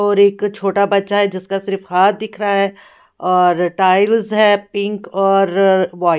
और एक छोटा बच्चा है जिसका सिर्फ हाथ दिख रहा है और टाइल्स है पिंक और व्हाइट --